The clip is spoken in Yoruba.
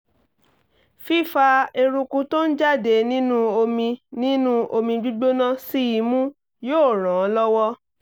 fífa eruku tó ń jáde nínú omi nínú omi gbígbóná sí imú yóò ràn án lọ́wọ́